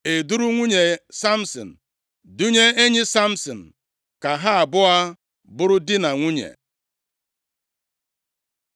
E duuru nwunye Samsin dunye enyi Samsin ka ha abụọ bụrụ di na nwunye.